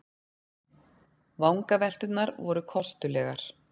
Vangavelturnar voru kostulegar.